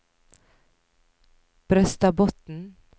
Brøstadbotn